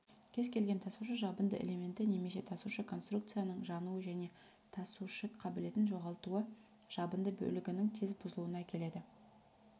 кез-келген тасушы жабынды элементі немесе тасушы конструкцияның жануы және тасушы қабілетін жоғалтуы жабынды бөлігінің тез бұзылуына әкеледі